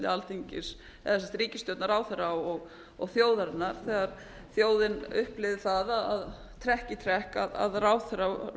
alþingis eða ríkisstjórnar ráðherra og þjóðarinnar þegar þjóðin upplifði það trekk í trekk að ráðherrar